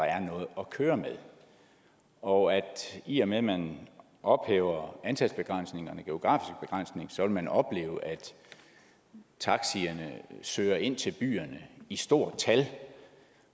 er noget at køre med og at i og med man ophæver antalsbegrænsningen og man opleve at taxierne søger ind til byerne i stort tal